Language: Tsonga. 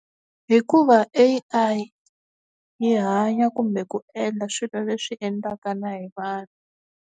Hikuva A_I yi hanya kumbe ku endla swilo leswi endlaka na hi vanhu.